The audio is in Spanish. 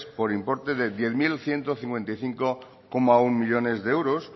por importe de diez mil ciento cincuenta y cinco coma uno millónes de euros